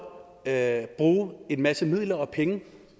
at bruge en masse midler og penge